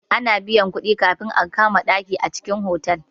Ana biyan kuɗi kafin a kama ɗaki a cikin otal.